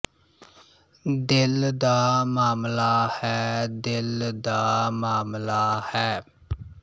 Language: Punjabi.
ਦਿਲ ਦਾ ਮਾਮਲਾ ਹੈ ਦਿਲ ਦਾ ਮਾਮਲਾ ਹੈ